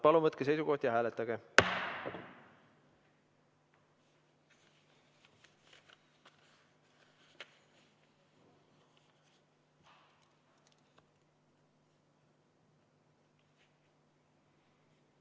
Palun võtke seisukoht ja hääletage!